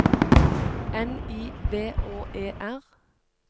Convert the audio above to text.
N I V Å E R